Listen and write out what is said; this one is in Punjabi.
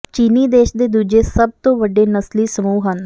ਚੀਨੀ ਦੇਸ਼ ਦੇ ਦੂਜੇ ਸਭ ਤੋਂ ਵੱਡੇ ਨਸਲੀ ਸਮੂਹ ਹਨ